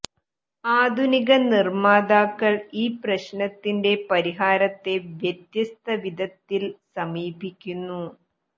ആധുനിക നിർമ്മാതാക്കൾ ഈ പ്രശ്നത്തിന്റെ പരിഹാരത്തെ വ്യത്യസ്ത വിധങ്ങളിൽ സമീപിക്കുന്നു